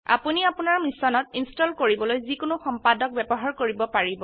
আপোনি আপোনাৰ মেশিনত ইনস্টল কৰিবলৈ যি কোনো সম্পাদক ব্যবহাৰ কৰিব পাৰিব